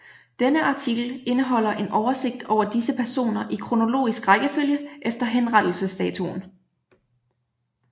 Denne artikel indeholder en oversigt over disse personer i kronologisk rækkefølge efter henrettelsesdatoen